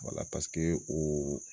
o